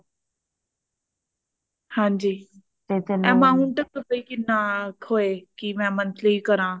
ਹਾਂਜੀ amount ਕਿਹਨਾਂ ਕੋ ਹੋਏ ਕਿਹੋਏ monthly ਕਰਾ